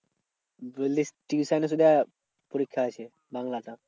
বলিস tuition এ সেটা পরীক্ষা আছে বাংলাটা।